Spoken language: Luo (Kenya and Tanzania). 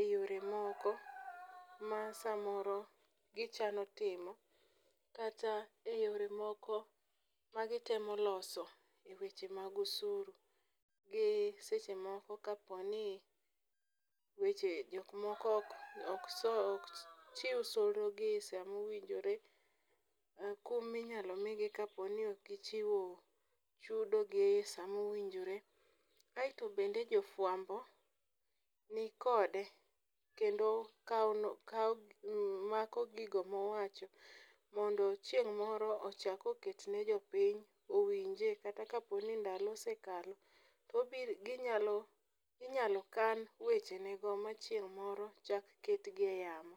eyore moko ma samoro gichano timo kata eyore moko magitemo loso eweche mag osuru. Gi sechemoko kaponi weche jok moko ok chiw solro gi e samowinjore, kumi ma inyalo migi kapo ni ok gichiwo chudogi e saa ma owinjore. Kaeto bende jofuambo nikod kendo kawo mako gigo mondo chieng' moro ochak oket nejopiny owinje kata kapo ni dalo osekalo. Pod inyalo kan wechegigo ma chieng' moro inyalo ketgi eyamo.